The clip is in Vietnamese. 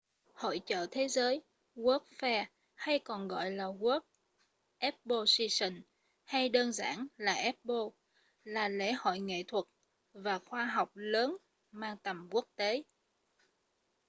hội chợ thế giới world’s fair hay còn gọi là world exposition hay chỉ đơn giản là expo là lễ hội nghệ thuật và khoa học lớn mang tầm quốc tế